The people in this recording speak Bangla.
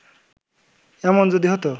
এমন যদি হত